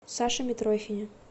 саше митрохине